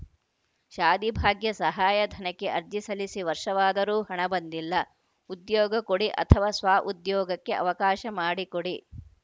ಶಾದಿಭಾಗ್ಯ ಸಹಾಯಧನಕ್ಕೆ ಅರ್ಜಿ ಸಲ್ಲಿಸಿ ವರ್ಷವಾದರೂ ಹಣ ಬಂದಿಲ್ಲ ಉದ್ಯೋಗ ಕೊಡಿ ಅಥವಾ ಸ್ವಉದ್ಯೋಗಕ್ಕೆ ಅವಕಾಶ ಮಾಡಿಕೊಡಿ